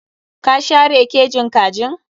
Ka share kejin kajin?